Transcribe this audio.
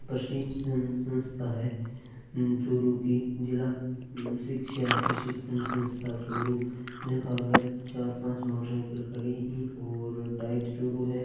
प्रशिक्शण संस्था है चूरू की जिला शिक्षा प्रशिक्शण संस्था चूरू जक आगे चार पांच मोटर साइकिल खड़ी है और डाइट चूरू है।